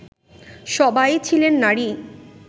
সবাই ছিলেন নারী